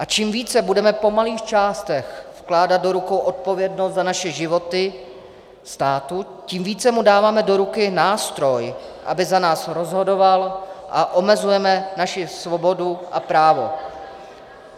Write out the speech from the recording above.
A čím více budeme po malých částech vkládat do rukou odpovědnost za naše životy státu, tím více mu dáváme do ruky nástroj, aby za nás rozhodoval, a omezujeme naši svobodu a právo.